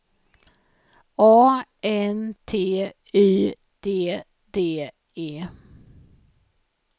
A N T Y D D E